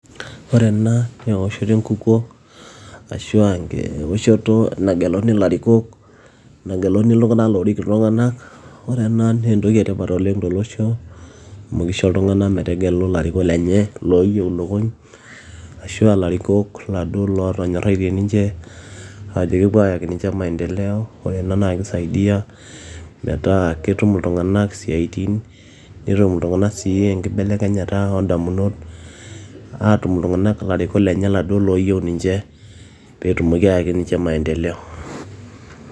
Ore ena naa ewoshoto enkukuo ashua ewoshoto nageluni ilarikok nageluni iltung'anak loorik iltung'anak ore ena naa entoki etipat oleng tolosho amu kisho iltung'anak metegelu ilarikok lenye looyieu ilukuny ashuaa ilarikok lootonyoraitie ninche ajoo kepuo ayaaki ninche maendeleo ore ena naa keisaidia metaa ketum iltung'anak siatin netum sii iltung'anak enkibelekenyata oondamunot aatum iltung'anak ilarikok lenye iladuo looyieu ninche peetumoki aayaki ninche maaendeleo